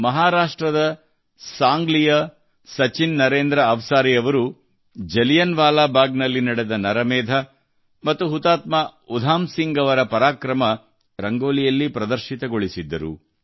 ಮಹಾರಾಷ್ಟ್ರದ ಸಾಂಗ್ಲಿಯ ಸಚಿನ್ ನರೇಂದ್ರ ಅವಸಾರಿ ಅವರು ಜಲಿಯನ್ ವಾಲಾ ಬಾಗ್ ಅಲ್ಲಿ ನಡೆದ ನರಮೇಧ ಮತ್ತು ಹುತಾತ್ಮ ಉಧಮ್ ಸಿಂಗ್ ಅವರ ಪರಾಕ್ರಮ ರಂಗೋಲಿಯಲ್ಲಿ ಪ್ರದರ್ಶಿತಗೊಳಿಸಿದ್ದರು